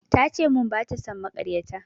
Ta ce mun bata son makaryata